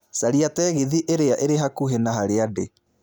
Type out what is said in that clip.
caria tegithĨ ĩrĩa ĩrĩ hakuhĩ na harĩa ndĩ